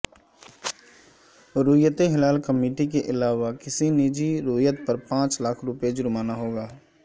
رویت ہلال کمیٹی کے علاوہ کسی نجی رویت پر پانچ لاکھ روپے جرمانہ ہوگا